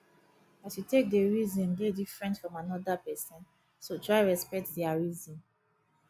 as yu take dey reason dey diffrent from anoda pesin so try respekt dia reason